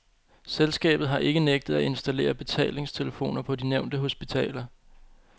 Selskabet har ikke nægtet at installere betalingstelefoner på de nævnte hospitaler.